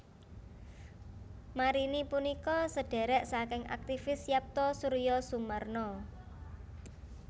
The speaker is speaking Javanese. Marini punika sedhèrèk saking aktivis Yapto Suryosumarno